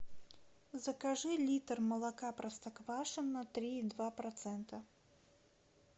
закажи литр молока простоквашино три и два процента